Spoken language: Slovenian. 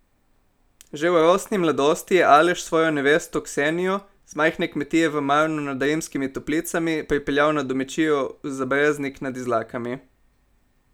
Že v rosni mladosti je Aleš svojo nevesto Ksenjo z majhne kmetije v Marnu nad Rimskimi Toplicami pripeljal na domačijo v Zabreznik nad Izlakami.